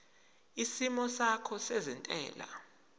isimo sakho sezentela